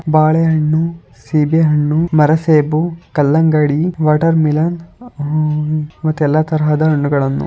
ಬಾಳೆಹಣ್ಣು ಸೀಬೆಹಣ್ಣು ಮರ ಸೇಬು ಕಲ್ಲಂಗಡಿ ವಾಟರ್ ಮೆಲನ್ ಅಹ್ಮ್ ಮತ್ತೆ ಎಲ್ಲಾ ತರಹದ ಹಣ್ಣುಗಳನ್ನೂ --